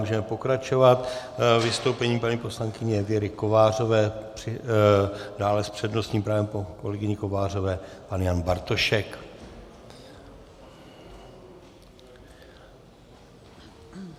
Můžeme pokračovat vystoupením paní poslankyně Věry Kovářové, dále s přednostním právem po kolegyni Kovářové pan Jan Bartošek.